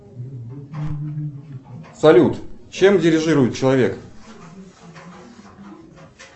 салют чем дирижирует человек